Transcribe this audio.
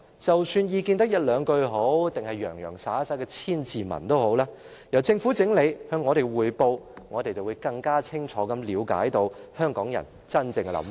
無論意見只有兩句，還是洋洋灑灑的千字文，先由政府整理，然後向我們匯報，我們便會更清楚了解香港人真正的想法。